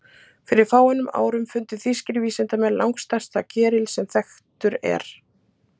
Fyrir fáeinum árum fundu þýskir vísindamenn langstærsta geril sem þekktur er.